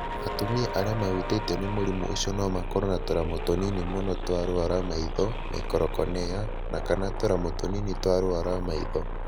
Atumia arĩa mahutĩtio nĩ mũrimũ ũcio no makorũo na tũramu tũnini mũno twa rũũa rwa maitho (microcornea) na/kana tũramu tũnini twa rũũa rwa maitho.